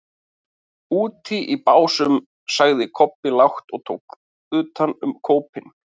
Úti í Básum, sagði Kobbi lágt og tók utan um kópinn.